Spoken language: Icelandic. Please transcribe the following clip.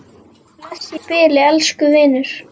Bless í bili, elsku vinur.